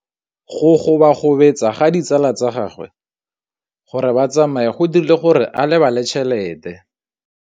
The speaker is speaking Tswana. Go gobagobetsa ga ditsala tsa gagwe, gore ba tsamaye go dirile gore a lebale tšhelete.